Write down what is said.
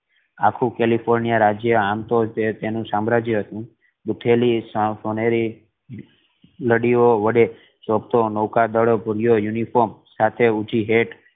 આખું કેલિફોર્નિયા રાજ્ય આમ તો તેનુ સામ્રાજ્ય હતુ બુથેલી સાફ અનેરી લાડીયો વડે શોભતો નવકારદાર ભુરાયો યુનિફોર્મ સાથે ઉંચી hat